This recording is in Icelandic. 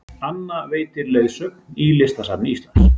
Anna veitir leiðsögn í Listasafni Íslands